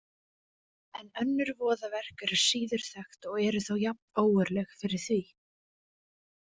En önnur voðaverk eru síður þekkt og eru þó jafn ógurleg fyrir því.